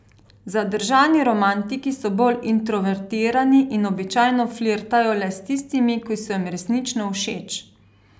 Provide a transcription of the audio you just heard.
Zadržani romantiki so bolj introvertirani in običajno flirtajo le s tistimi, ki so jim resnično všeč.